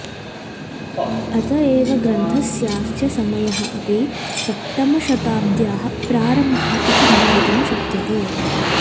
अत एव ग्रन्थस्यास्य समयः अपि सप्तमशताब्द्याः प्रारम्भः इति ज्ञातुं शक्यते